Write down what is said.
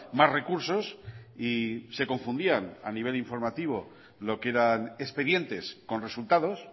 más recursos y se confundían a nivel informativa lo que eran expedientes con resultados